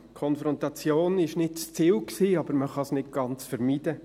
Konfrontation war nicht das Ziel, aber man kann es nicht ganz vermeiden.